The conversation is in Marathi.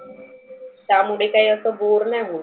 त्यामुळे असं बोर नाही होत.